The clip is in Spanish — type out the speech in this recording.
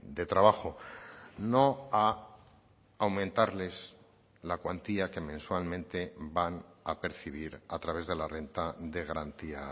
de trabajo no a aumentarles la cuantía que mensualmente van a percibir a través de la renta de garantía